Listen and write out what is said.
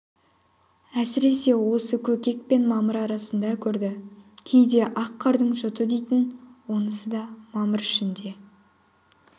әсіресе осы көкек пен мамыр арасында көрді кейде ақ қардың жұты дейтін онысы да мамыр ішінде